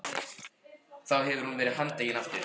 Þá hefði hún verið handtekin aftur.